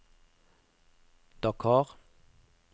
Dakar